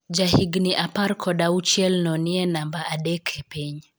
Jahigni apar kod auchielno nie namba adek e piny